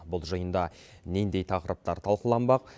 бұл жиында нендей тақырыптар тақыланбақ